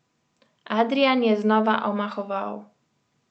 Adrijan je znova omahoval.